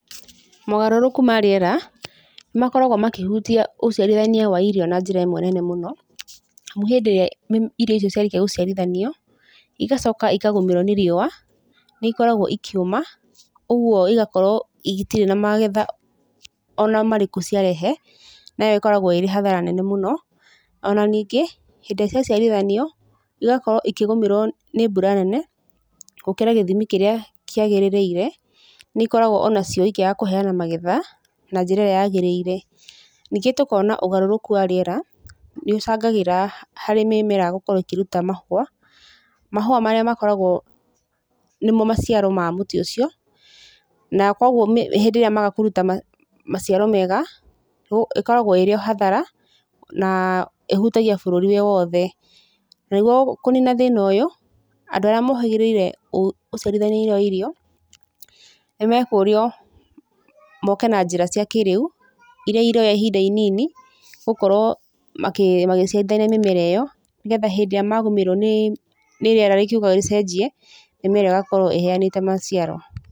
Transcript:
Mogarũrũku ma rĩera, nĩ makoragwo makĩhutia ũciarithania wa irio na njĩra ĩmwe nene mũno, amu hĩndĩ ĩrĩa irio ciarĩkia gũciarithanio, igacoka ikagũmĩrwo nĩ riũa, nĩ ikoragwo ikĩũma, ũguo igakorwo itirĩ na magetha ona marĩkũ ciarehe, na ĩyo ĩkoragwo ĩrĩ hathara nene mũno. Ona ningĩ, hĩndĩ ĩrĩa ciaciarithanio, igakorwo ikĩgũmĩrwo nĩ mbura nene gũkĩra gĩthimi kĩrĩa kĩagĩrĩire, nĩ ikoragwo onacio ikĩaga kũheana magetha na njĩra ĩrĩa yagĩrĩire, ningĩ tũkona ũgarũrũku wa rĩera nĩ ũcangagĩra harĩ mĩmera gũkorwo ĩkĩruta mahũa, mahũa marĩa makoragwo nĩmo maciaro ma mũtĩ ũcio, na koguo hĩndĩ ĩrĩa maga kũruta maciaro mega, ĩkoragwo ĩrĩ o hathara, na ĩhutagia bũrũri wĩ wothe. Na nĩguo kũnina thĩna ũyũ, andũ arĩa mohĩgĩrĩire ũciarithania-inĩ wa irio, nĩ mekũrio moke na njĩra cia kĩrĩu, iria iroya ihinda inini gũkorwo magĩciarithania mĩmera ĩyo, nĩgetha hĩndĩ ĩrĩa magũmĩrwo nĩ rĩera rĩkiuga rĩcenjie, mĩmera ĩgakorwo ĩheanĩte maciaro.